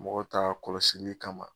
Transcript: Mɔg ta a kɔlɔsili kama